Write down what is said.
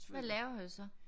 Hvad laver du så?